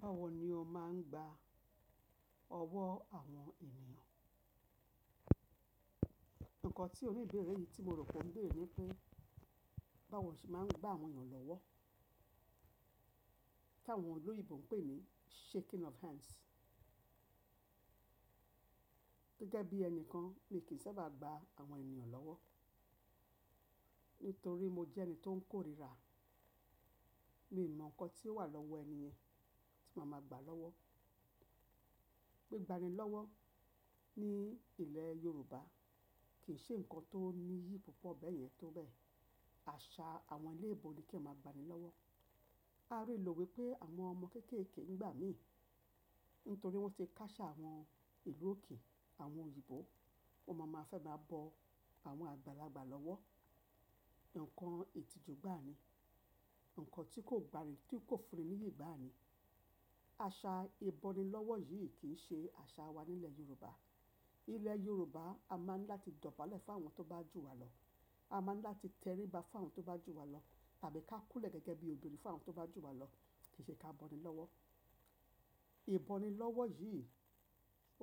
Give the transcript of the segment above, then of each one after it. Báwo ni o máa ń gba ọwọ́ àwọn ènìyàn? Nkan tí oníbẹ̀rẹ̀ yìí tí mo r'òpẹ́ o beere ní pé báwo lo ṣe máa ń gba àwọn èeyàn lọ́wọ́ tí àwọn olóyèbo ń pè ní shaking of hands. Gẹ́gẹ́ bí ẹni kan mi kì í sábà gba àwọn ènìyàn lọ́wọ́ nítorí mo jẹ́ ẹni tó ń kórira. Mi ò mọ nǹkan tí ó wà lọ́wọ́ ènìyàn tí màá máa gba lọ́wọ́. Gbigbani lọ́wọ́ ní ilẹ̀ Yorùbá kì í ṣe ǹkan tó níyì púpọ̀ bẹ́ẹ̀ yẹn tó bẹ́ẹ̀. Àṣà àwọn eléèbo ni kí ẹeyan máa gbani lọ́wọ́. A rí ìlò wípé àwọn ọmọ kéékèèké ń gbà mí nítorí wọ́n ti kásà àwọn ìlú òkè àwọn òyìnbó, wọn máa ma fẹ́ máa bọ àwọn àgbàlagbà lọ́wọ́. Nǹkan ìtìjú gbani, nǹkan tí kò gbayi tí kò fun ni nìyí gbani. Àṣà ìbọnilọ́wọ́ yìí kì í ṣe àṣà wa nílẹ̀ Yorùbá. Nílẹ̀ Yorùbá a máa ń dá láti dọ̀bálẹ̀ fún àwọn tó bá jù wá lọ. A máa ń láti t'ẹríba fún àwọn tó bá jù wá lọ tàbí ká kúnlẹ̀ gẹ́gẹ́ bí obìnrin fún àwọn tó bá jù wá lọ. Kì í ṣe ká bọnilọ́wọ́. Ìbọnilọ́wọ́ yìí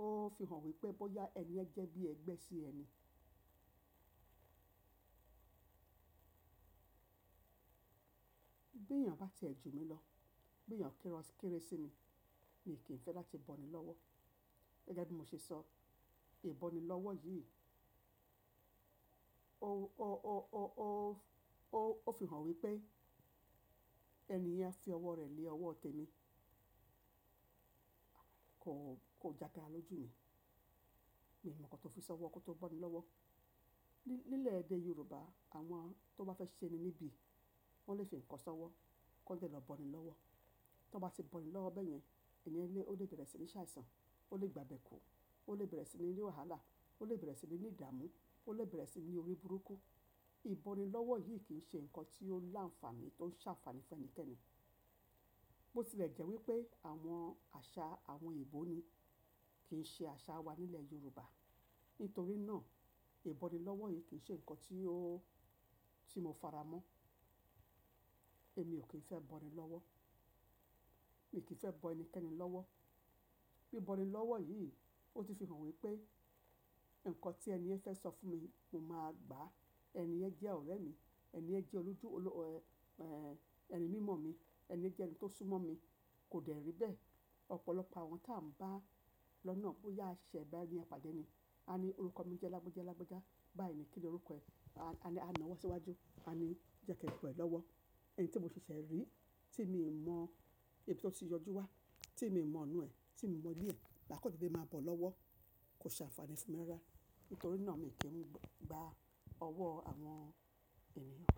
ó fi hàn wípé bóyá ẹni yen jẹ́ bí ẹgbẹ́ sí ẹni. Bí èeyàn bá ti ẹ jù mí lọ, bí èeyàn kéré sí mi, mi kì í fẹ́ láti bọnilọ́wọ́. Gẹ́gẹ́ bí mo ṣe sọ, ìbọnilọ́wọ́ yìí ó fi hàn wípé ẹni yẹn fi ọwọ́ rẹ̀ lé ọwọ́ tẹ́mi. Kò jágara lójú mi. Mi ò mọ nǹkan tó fi sọwọ́ kí ó tó bọnilọ́wọ́. Nílẹ̀ èdè Yorùbá àwọn tó bá fẹ́ ṣe ẹni níbi wọ́n lè fi ǹkan sọwọ́ kí wọ́n dẹ̀ lọ bọnilọ́wọ́. Tí wọ́n bá ti bọnilọ́wọ́ bẹ́ẹ̀ yẹn, ènìyàn lè ó lè bẹ̀rẹ̀ sí ní ṣàìsàn, ó lè gbàbẹ́ kú, ó lè bẹ̀rẹ̀ sí ní rí wàhálà, ó lè bẹ̀rẹ̀ sí ní ìdàmú, ó lè bẹ̀rẹ̀ sí ní orí burúkú. Ìbọnilọ́wọ́ yìí kì í ṣe ǹkan tí ó láǹfààní, tó ń ṣànfààní fẹ́nìkẹ́ni. Bo tilẹ̀ jẹ́ wípé àwọn àṣà àwọn òyìnbó ni kì í ṣe àṣà wa nílẹ̀ Yorùbá. Nítorí náà ìbọnilọ́wọ́ yìí kì í ṣe ǹkan tí ó tí mo fará mọ́. Èmi ò kí ń fẹ́ bọnilọ́wọ́. Mi ò kí ń fẹ́ bọ ẹnikẹ́ni lọ́wọ́. Bí'bọnilọ́wọ́ yìí ó ti fi hàn wípé ǹkan tí ẹni yẹn fẹ́ sọ fún mi mo máa gbà ẹni yẹn jẹ́ ọ̀rẹ́ mi, ẹni yẹn jẹ́ olójú ẹni mímọ̀ mi, ẹni yẹn jẹ́ ẹni tó súmọ́ mi kò dẹ̀ rí bẹ́ẹ̀. Ọ̀pọ̀lọpọ̀ àwọn tí à ń bá lọ́nà bóyá a ṣẹ̀ṣẹ̀ bá ẹni à pàdé ni, a ní orúkọ mi jẹ́ Lágbájá Lágbájá, báàyi ni kí ni orúkọ ẹ? A ní a na owọ́ síwájú. A ní jẹ́ kí ẹ bọ̀ ẹ́ lọ́wọ́. Ẹni tí mo ṣẹ̀ṣẹ̀ rí tí mi mọ ibi tí ó ti yọjú wá, tí mi mọ ona ẹ, tí mi mọ ile ẹ, maa kan dede máa bọ̀ ọ́ lọ́wọ́, kò ṣe àǹfààní fún mi rara. Nítorí náà èmi kì í gba ọwọ́ àwọn ènìyàn.